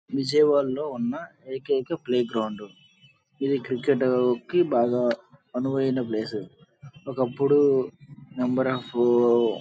విజయవాడ లో ఉన్న ఏకైక ప్లే గ్రౌండ్ ఇది ఇది క్రికెట్ కి బాగా అనువైన ప్లేస్ ఒక్కప్పుడు నెంబర్ అఫ్ --